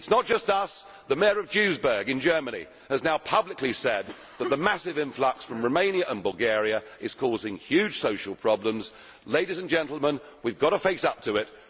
It is not just us the Mayor of Duisberg in Germany has now publicly said that the massive influx from Romania and Bulgaria is causing huge social problems. Ladies and gentlemen, we have to face up to it.